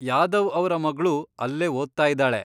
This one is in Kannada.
ಯಾದವ್ ಅವ್ರ ಮಗ್ಳೂ ಅಲ್ಲೇ ಓದ್ತಾ ಇದಾಳೆ.